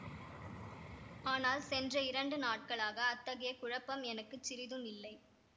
ஆனால் சென்ற இரண்டு நாட்களாக அத்தகைய குழப்பம் எனக்கு சிறிதும் இல்லை